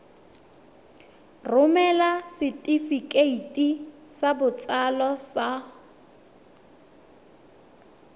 romela setefikeiti sa botsalo sa